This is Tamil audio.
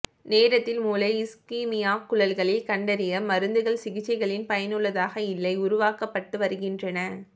நேரத்தில் மூளை இஸ்கிமியா குழல்களின் கண்டறிய மருந்துகள் சிகிச்சைகளில் பயனுள்ளதாக இல்லை உருவாக்கப்பட்டு வருகின்றன